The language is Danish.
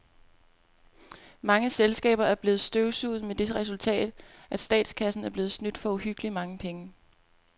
Mange selskaber er blevet støvsuget med det resultat, at statskassen er blevet snydt for uhyggeligt mange penge.